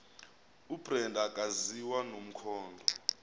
ubrenda akaziwa nomkhondo